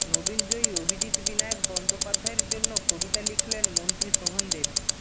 নোবেলজয়ী অভিজিৎ বিনায়ক বন্দোপাধ্যায়ের জন্য কবিতা লিখলেন মন্ত্রী শোভনদেব